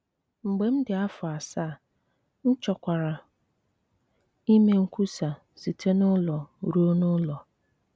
Mgbe m dị afọ asaa, m chọkwara ime nkwusa site n’ụlọ ruo n’ụlọ.